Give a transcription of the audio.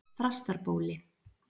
Þrastarbóli